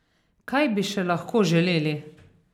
Kaj bi še lahko želeli?